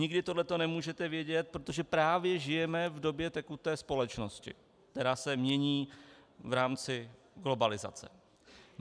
Nikdy tohle nemůžete vědět, protože právě žijeme v době tekuté společnosti, která se mění v rámci globalizace.